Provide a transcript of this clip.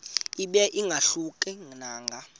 ibe ingahluka nanga